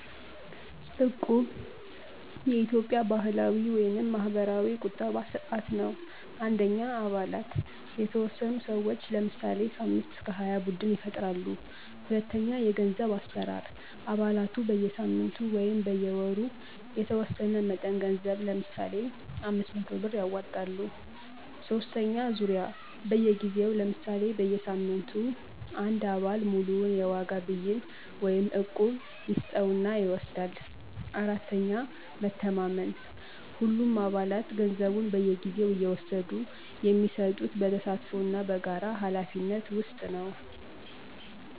"እቁብ" የኢትዮጵያ ባህላዊ (ማህበራዊ ቁጠባ ስርዓት) ነው። 1. አባላት የተወሰኑ ሰዎች (ለምሳሌ 5-20) ቡድን ይፈጥራሉ። 2. የገንዘብ አሠራር አባላቱ በየሳምንቱ/ወሩ የተወሰነ መጠን ገንዘብ (ለምሳሌ 500 ብር) ያዋጣሉ። 3. ዙርያ በየጊዜው (ለምሳሌ በየሳምንቱ) አንድ አባል ሙሉውን የዋጋ ብይን (እቁብ) ይስጠው እና ይወስዳል። 4. መተማመን ሁሉም አባላት ገንዘቡን በየጊዜው እየወሰዱ የሚሰጡት በተሳትፎ እና በጋራ ኃላፊነት ውስጥ ነው።